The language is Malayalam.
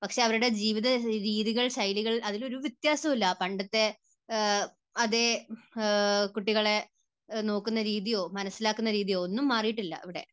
പക്ഷേ അവരുടെ ജീവിത രീതികൾ, ശൈലികൾ, അതിൽ ഒരു വ്യത്യാസവുമില്ല. പണ്ടത്തെ അതേ, കുട്ടികളെ നോക്കുന്ന രീതിയോ മനസ്സിലാക്കുന്ന രീതിയോ ഒന്നും മാറിയിട്ടില്ല ഇവിടെ.